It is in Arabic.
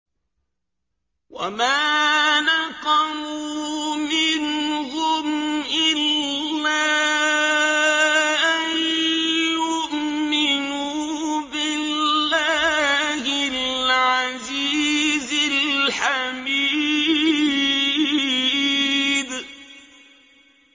وَمَا نَقَمُوا مِنْهُمْ إِلَّا أَن يُؤْمِنُوا بِاللَّهِ الْعَزِيزِ الْحَمِيدِ